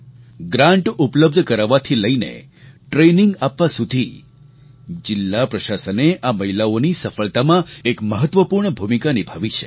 grant ઉપલબ્ધ કરાવવાથી લઈને ટ્રેઇનિંગ આપવા સુધી જિલ્લા પ્રશાસને આ મહિલાઓની સફળતામાં એક મહત્ત્વપૂર્ણ ભૂમિકા નિભાવી છે